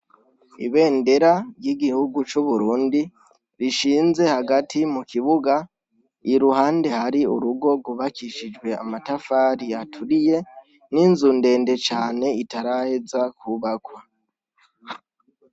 Ibendera y' igihugu c' Uburundi, rishinze hagati mu kibuga, iruhande hari urugo ryubakishijwe amatafari aturiye, n' inzu ndende cane itaraheza kwubakwa.